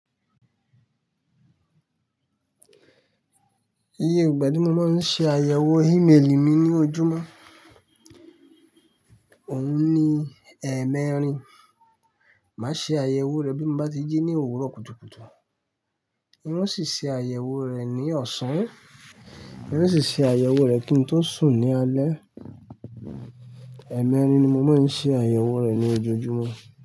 Iye ìgbà tí mo máa ń ṣe àyẹ̀wò ímeèlì mi ní ojúmọ́, òun ní ẹ̀ẹ̀mẹrin. Máa ṣe àyẹ̀wò rẹ̀ bí mo bá ti jí ní òwúrọ̀ kùtùkùtù. Irú ṣíṣe àyẹ̀wò rẹ̀ ni ọ̀sán. Irú ṣíṣe àyẹ̀wò rẹ̀ kí n tó sùn ní alẹ́. Ẹ̀ẹ̀mẹrin ni mo máa ń ṣe àyẹ̀wò rẹ̀ ní ojoojúmọ́